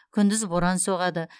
күндіз боран соғады